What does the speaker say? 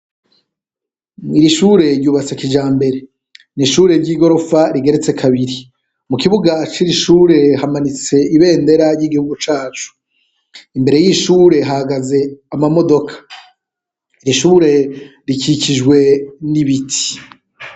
Iri shure ryubatse kijambere, ni ishure ry'igorofa rigeretse kabiri, mu kibuga ciri shure hamanitse ibendera ry'igihugu cacu, imbere yiyi shure hahagaze ama modoka, iri shure rikikijwe n'ibiti.